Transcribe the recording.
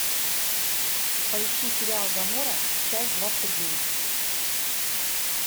поищи сериал гамора часть двадцать девять